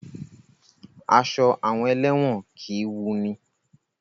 Aṣọ àwọn elẹ́wọ̀n kìí wunni.